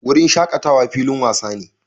Wurin shakatawa filin wasa ne